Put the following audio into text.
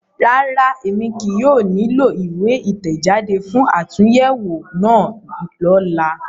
Rárá, Emi kii yóò nilo iwe itẹjade fun atunyẹwo náa lọla